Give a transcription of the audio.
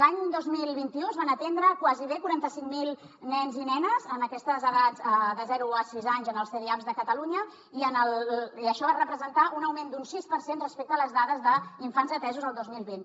l’any dos mil vint u es van atendre gairebé quaranta cinc mil nens i nenes en aquestes edats de zero a sis anys en els cdiaps de catalunya i això va representar un augment d’un sis per cent respecte a les dades d’infants atesos el dos mil vint